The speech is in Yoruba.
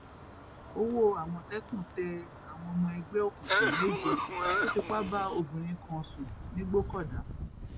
owó àmọtẹkùn tẹ àwọn ọmọ ẹgbẹ òkùnkùn méje tó fipá bá obìnrin kan sùn nìgbòkọdá